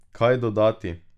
Kaj dodati?